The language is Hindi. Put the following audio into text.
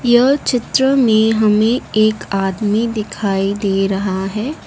यह चित्र में हमें एक आदमी दिखाई दे रहा है।